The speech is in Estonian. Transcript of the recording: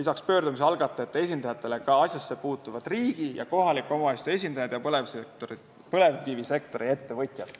lisaks pöördumise algatajate esindajatele ka asjasse puutuvad riigi ja kohaliku omavalitsuse esindajad ning põlevkivisektori ettevõtjad.